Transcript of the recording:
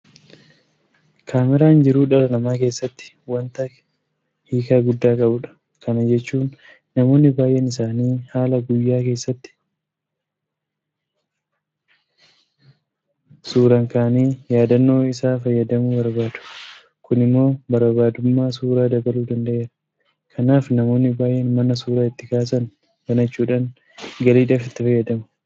Kaameraan jiruu dhala namaa keessatti waanta kiika guddaa qabudha. Kana jechuun namoonni baay'een isaanii haala guyyaa keessatti keessa oolan suuraan kaa'anii yaadannoo isaa fayyadamuu barbaadu. Kun immoo barbaadamummaa suuraa dabaluu danda'eera. Kanaaf namoonni baay'een mana suura itti kaasan banachuudhaan galiidhaaf itti fayyadamu.